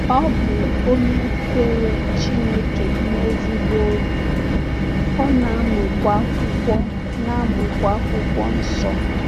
Ọ bụ onye kwere Chineke n’ezigbo obi, ọ na-amụkwa Akwụkwọ na-amụkwa Akwụkwọ Nsọ.